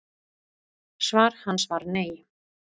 Svar hans var nei.